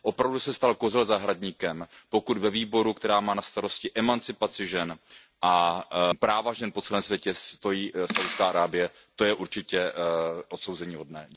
Opravdu se stal kozel zahradníkem, pokud ve výboru, který má na starosti emancipaci žen a práva žen po celém světě, stojí Saúdská Arábie, to je určitě odsouzeníhodné.